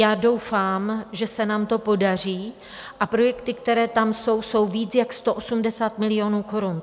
Já doufám, že se nám to podaří, a projekty, které tam jsou, jsou víc jak 180 milionů korun.